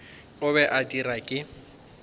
o be a dirwa ke